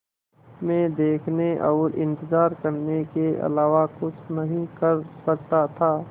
मैं देखने और इन्तज़ार करने के अलावा कुछ नहीं कर सकता था